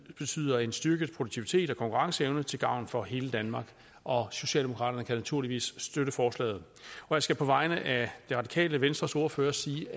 betyder en styrket produktivitet og konkurrenceevne til gavn for hele danmark socialdemokraterne kan naturligvis støtte forslaget og jeg skal på vegne af det radikale venstres ordfører sige